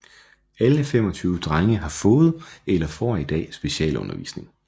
Alle 25 drenge har fået eller får i dag specialundervisning